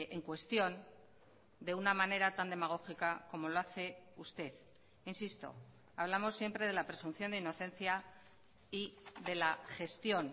en cuestión de una manera tan demagógica como lo hace usted insisto hablamos siempre de la presunción de inocencia y de la gestión